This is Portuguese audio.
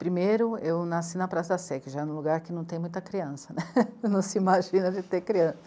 Primeiro, eu nasci na Praça da Sé, que já é um lugar que não tem muita criança, né não se imagina de ter criança.